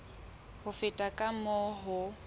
ho feta ka moo ho